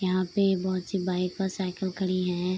यहाँ पे बहोत सी बाइक और साइकल खड़ी हैं।